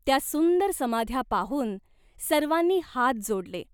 त्या सुंदर समाध्या पाहून सर्वांनी हात जोडले.